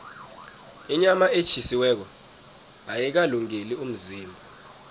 inyama etjhisiweko ayikalungeli umzimba